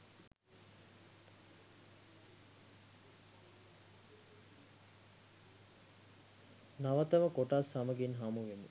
නවතම කොටස් සමගින් හමුවෙමු.